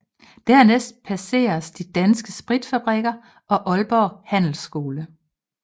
Dernæst passeres De Danske Spritfabrikker og Aalborg Handelsskole